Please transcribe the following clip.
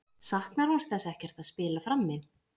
Saknar hún þess ekkert að spila frammi?